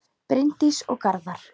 Bryndís og Garðar.